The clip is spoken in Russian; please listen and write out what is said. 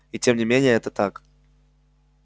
и тем не менее это так